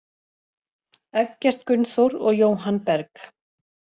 Eggert Gunnþór og Jóhann Berg.